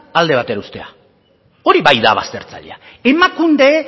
alde batera uztea hori bai da baztertzailea emakunde